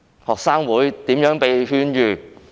學生會如何被勸諭噤聲？